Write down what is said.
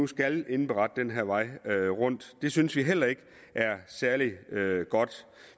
skal indberette den her vej rundt det synes vi heller ikke er særlig godt